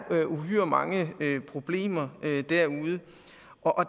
uhyre mange problemer derude